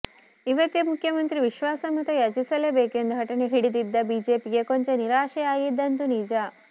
ಇವತ್ತೇ ಮುಖ್ಯಮಂತ್ರಿ ವಿಶ್ವಾಸಮತ ಯಾಚಿಸಲೇಬೇಕು ಎಂದು ಹಠ ಹಿಡಿದಿದ್ದ ಬಿಜೆಪಿಗೆ ಕೊಂಚ ನಿರಾಶೆಯಾಗಿದ್ದಂತೂ ನಿಜ